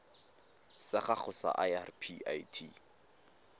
sa gago sa irp it